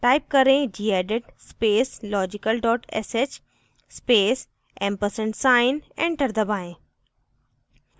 type करें: gedit space logical sh space & sign enter दबाएं